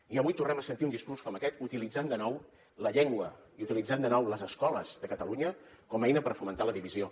i avui tornem a sentir un discurs com aquest utilitzant de nou la llengua i utilitzant de nou les escoles de catalunya com a eina per fomentar la divisió